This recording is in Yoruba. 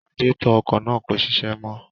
Radiétọ̀ ọkọ̀ náà kò ṣiṣẹ́ mọ́